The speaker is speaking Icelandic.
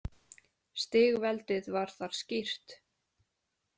Stigveldið var þar skýrt.